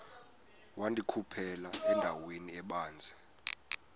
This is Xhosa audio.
wandikhuphela endaweni ebanzi